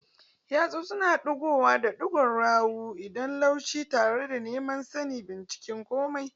Yatsu suna digowa da ɗigon yawu, idanu lumshe tare da neman sani, bincika komai